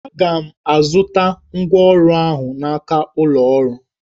Aga m azụta ngwa ọrụ ahụ n'aka ụlọ ọrụ